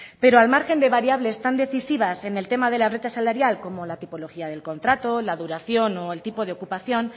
pero al margen de variables tan decisivas en el tema de la brecha salarial como la tipología del contrato la duración o el tipo de ocupación